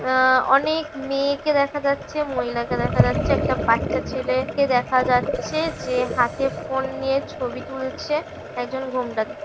আ-আ- অনেকমেয়েকে দেখা যাচ্ছে মহিলাকে দেখা যাচ্ছে একটা বাচ্চা ছেলেকে দেখা যাচ্ছে যে হাতে ফোন নিয়ে ছবি তুলেছে একজন ঘোমটা--